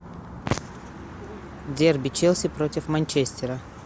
дерби челси против манчестера